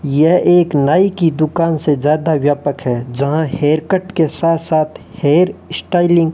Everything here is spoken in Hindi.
यह एक नाई की दुकान से ज्यादा व्यापक है जहां हेयरकट के साथ साथ हेयर स्टाइलिंग --